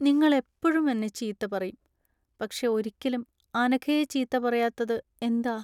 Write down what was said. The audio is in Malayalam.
നിങ്ങൾ എപ്പഴും എന്നെ ചീത്ത പറയും, പക്ഷെ ഒരിക്കലും അനഘയെ ചീത്ത പറയാത്തത് എന്താ?